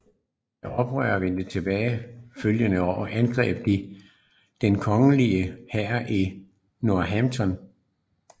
Da oprørerne vendte tilbage det følgende år angreb de den kongelige hær i Northampton